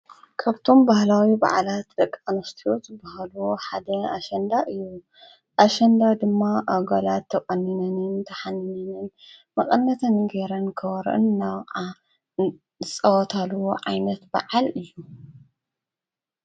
ካብቶም ባህላዊ በዓላት ደቂ ኣንስትዮ ዝበሃሉ ሓደ ኣሸንዳ እዩ። ኣሸንዳ ድማ ኣጐላት ተቖኒነንን ተሓኒነን መቐነተን ገይረን ከበሮአን እንዳወቅዓ ዝፃወታሉ ዓይነት በዓል እዩ።